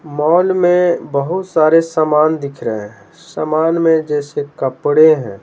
Mall में बहुत सारे सामान दिख रहे हैं सामान में जैसे कपड़े हैं।